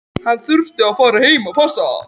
Ég var áreiðanlega ekki með réttu ráði þá.